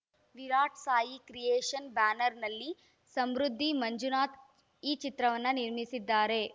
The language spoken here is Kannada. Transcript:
ವಿರಾಟ್‌ ಸಾಯಿ ಕ್ರಿಯೇಷನ್‌ ಬ್ಯಾನರ್‌ನಲ್ಲಿ ಸಮೃದ್ಧಿ ಮಂಜುನಾಥ್‌ ಈ ಚಿತ್ರವನ್ನ ನಿರ್ಮಿಸಿದ್ದಾರೆ